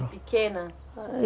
pequena?